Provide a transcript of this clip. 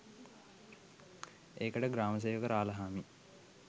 ඒකට ගමේ ග්‍රාමසේවක රාළහාමි